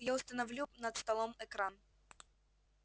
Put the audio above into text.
я установлю над столом экран